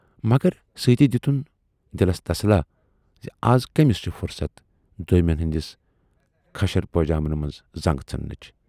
مگر سٍتی دِتُن دِلس تسلاہ زِ اَز کمِٔس چھِ فُرصتھ دویمٮ۪ن ہٕندٮ۪ن کھشر پٲجامن منز زنگ ژھُنہٕ نٕچ۔